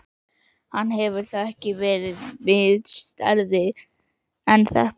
Hann hefur þá ekki verið minnisstæðari en þetta?